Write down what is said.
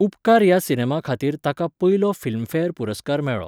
उपकार ह्या सिनेमा खातीर ताका पयलो फिल्मफेअर पुरस्कार मेळ्ळो.